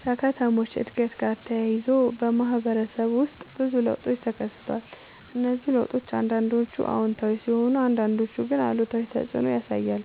ከከተሞች እድገት ጋር ተያይዞ በማህበረሰብ ውስጥ ብዙ ለውጦች ተከስተዋል። እነዚህ ለውጦች አንዳንዶቹ አዎንታዊ ሲሆኑ አንዳንዶቹ ግን አሉታዊ ተፅዕኖ ያሳያሉ።